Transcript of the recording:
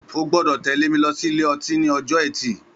Ó gbọdọ tẹ̀lé mi lọ si ilé ọtin ni ọjọ ẹti